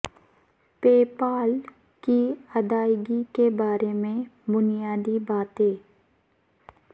پے پال کی ادائیگی کے بارے میں بنیادی باتیں